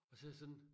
Og så jeg sådan